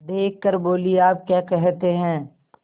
देख कर बोलीआप क्या कहते हैं